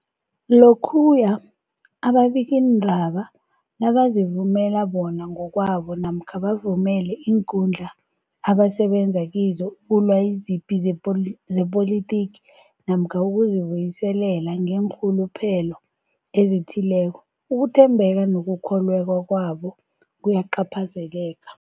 Lokhuya ababikiindaba nabazivumela bona ngokwabo namkha bavumele iinkundla abasebenza kizo ukulwa izipi zepoli zepolitiki namkha ukuzi buyiselela ngeenrhuluphelo ezithileko, ukuthembeka nokukholweka kwabo kuyacaphazeleka.